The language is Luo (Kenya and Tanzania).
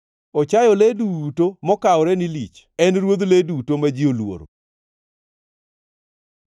Ochayo le duto mokawore ni lich; en ruodh le duto ma ji oluoro.”